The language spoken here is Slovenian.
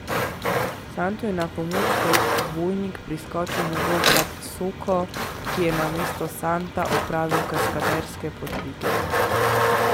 Santu je na pomoč kot dvojnik priskočil njegov brat Soko, ki je namesto Santa opravil kaskaderske podvige.